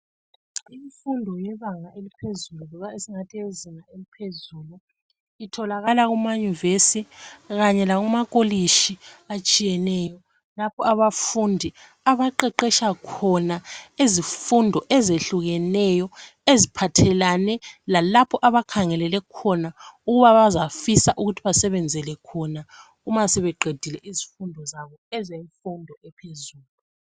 Imfundo yebanga eliphezulu esingathi eyezinga eliphezulu itholakala kuma nyuvesi kanye lakuma kolitshi atshiyeneyo lapho abafundi abaqeqetsha khona izifundo ezehlekuneyo eziphathelane lalapho abakhangelele khona ukubana bazafisa ukuthi basebenzele khona uma sebeqidile izifundo zabo ezemfundo ephezulu.